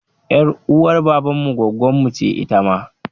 Ƴar uwar baban mu gwaggonmu ce ita ma.